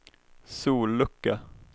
sollucka